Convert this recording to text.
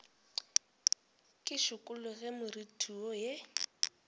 ke šikologe moriti wo ye